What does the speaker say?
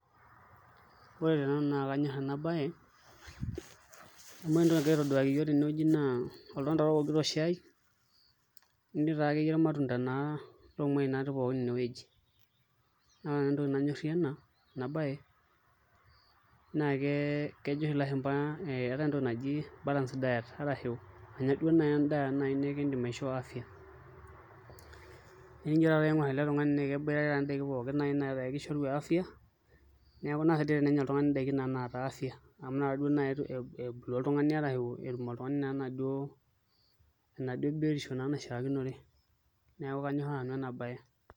Ore tenanu naa kanyorr ena baye amu ore entoki nagirai aitaduaki iyiook tenewueji naa oltung'ani ookito shai netii taakeyie irmatunda loomuain pookin inewueji Naa ore nanu entoki nanyorrie ena baye naa naa kejo oshi ilashumba keetai entoki naji balance diet arashu anya duo naai endaa nikiidim aishoo afya naa enijo aing'orr ele tung'ani naa keboitare ndaiki pookin netaa kishoru afya neeku naa sidai tenenya oltung'ani ndaiki naishoru afya amu ina kata duo naai ebulu oltung'ani etum oltung'ani enaduo biotisho naa naishiakinore, neeku kanyorr nanu ena baye.